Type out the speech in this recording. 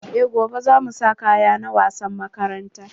Eh gobe za mu sa kaya na wasan makaranta.